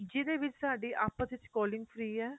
ਜਿਹਦੇ ਵਿੱਚ ਸਾਡੀ ਆਪਸ ਵਿੱਚ calling free ਏ